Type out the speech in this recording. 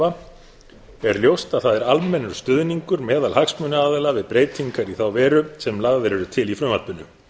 hafa er ljóst að það er almennur stuðningur meðal hagsmunaaðila við breytingar í þá veru sem lagðar eru til í frumvarpinu